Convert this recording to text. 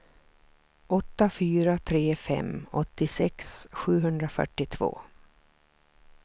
åtta fyra tre fem åttiosex sjuhundrafyrtiotvå